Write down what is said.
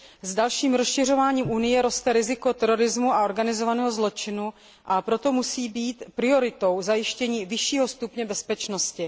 S dalším rozšiřováním Unie roste riziko terorismu a organizovaného zločinu, a proto musí být prioritou zajištění vyššího stupně bezpečnosti.